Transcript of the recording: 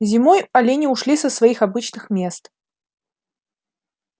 зимой олени ушли со своих обычных мест